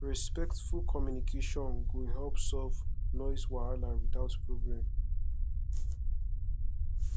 respectful communication go help solve noise wahala without problem